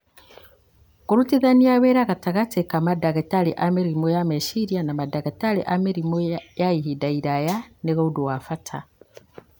Kũrutithania wĩra gatagatĩ ka mandagĩtarĩ a mĩrimũ ya meciria na mandagĩtarĩ a mĩrimũ ya ihinda iraya nĩ ũndũ wa bata.